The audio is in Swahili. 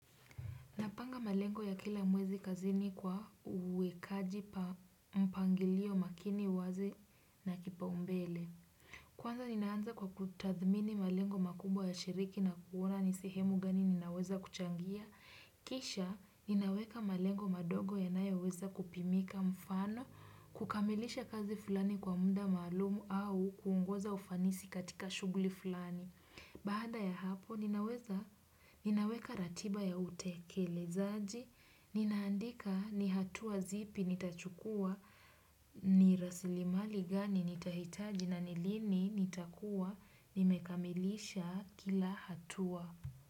Napanga malengo ya kila mwezi kazini kwa uwekaji wa mpangilio makini, uwazi na wa kipaumbele. Kwanza ninaanza kwa kutathmini malengo makubwa ya shirika na kuona ni sehemu gani ninaweza kuchangia. Kisha ninaweka malengo madogo yanayoweza kupimika, mfano, kukamilisha kazi fulani kwa muda maalumu au kuongeza ufanisi katika shughuli fulani. Baada ya hapo, ninaweka ratiba ya utekelezaji, ninaandika ni hatua zipi nitachukua, ni rasilimali gani nitahitaji na lini nitakuwa nimekamilisha kila hatua.